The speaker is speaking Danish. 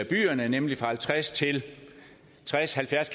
byerne nemlig fra halvtreds til tres halvfjerds